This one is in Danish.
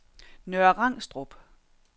Nørre Rangstrup